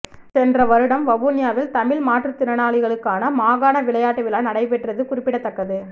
சென்ற வருடம் வவுனியாவில் தமிழ் மாற்றுத் திறனாளிகளுக்கான மாகாண விளையாட்டு விழா நடைபெற்றது குறிப்பிடத்தக்கது